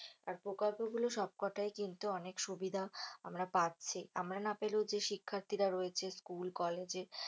আর প্রকল্প গুলোর সবকটাই কিন্তু অনেক সুবিধা আমরা পাচ্ছি। আমরা না পেলেও যে শিক্ষার্থীরা রয়েছে school college য়ে।